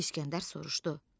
İskəndər soruşdu: